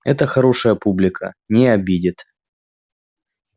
это хорошая публика не обидит